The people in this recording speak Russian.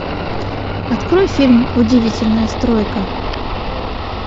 открой фильм удивительная стройка